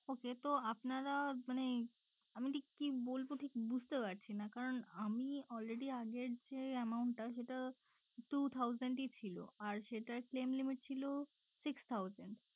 Okay তো আপনারা মানে আমি ঠিক কি বলবো ঠিক বুঝতে পারছি না কারন আমি already আমি আগের যে amount টা সেটা two thousands ই ছিল আর সেটার claim limit ছিল six thousands